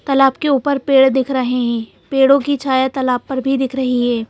तालाब के ऊपर पेड़ दिख रहे हैं पेड़ों की छाया तालाब पर भी दिख रही है।